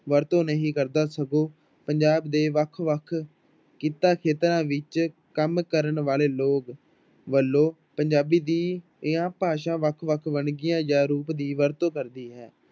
ਵਰਤੋਂ ਨਹੀ ਕਰਦਾ ਸਗੋਂ ਪੰਜਾਬ ਦੇ ਵੱਖ ਵੱਖ ਕਿੱਤਾ ਖੇਤਰਾਂ ਵਿੱਚ ਕੰਮ ਕਰਨ ਵਾਲੇ ਲੋਕ ਵੱਲੋਂ ਪੰਜਾਬੀ ਦੀਆਂ ਭਾਸ਼ਾ ਵੱਖ ਵੱਖ ਵੰਨਗੀਆਂ ਜਾਂ ਰੂਪ ਦੀ ਵਰਤੋਂ ਕਰਦੀ ਹੈ।